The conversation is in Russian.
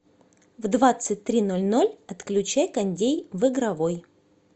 в двадцать три ноль ноль отключай кондей в игровой